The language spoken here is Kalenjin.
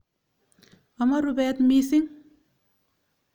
Amo rupet missing'.